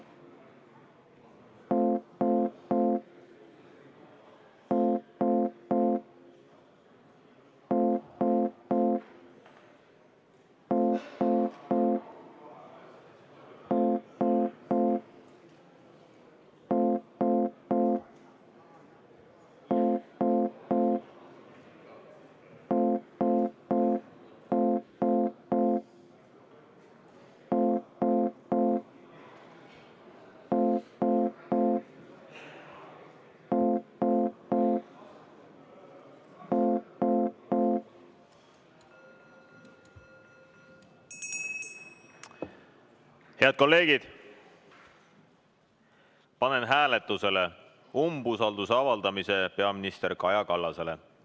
Head kolleegid, panen hääletusele umbusalduse avaldamise peaminister Kaja Kallasele.